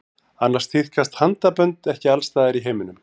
Annars tíðkast handabönd ekki alls staðar í heiminum.